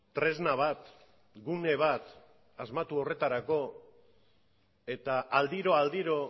tresna bat gune bat asmatu horretarako eta aldiro aldiro